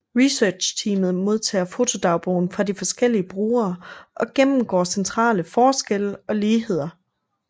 Researchteamet modtager fotodagbogen fra de forskellige brugere og gennemgår centrale forskelle og ligheder